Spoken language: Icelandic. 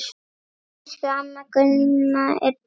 Elsku amma Gunna er dáin.